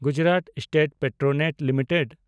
Gujarat State Petronet limited